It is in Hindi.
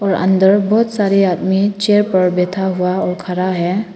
अंदर बहुत सारे आदमी चेयर पर बैठा हुआ और खड़ा है।